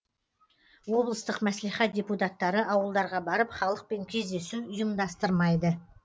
облыстық мәслихат депутаттары ауылдарға барып халықпен кездесу ұйымдастырмайды